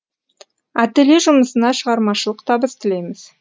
ателье жұмысына шығармашылық табыс тілейміз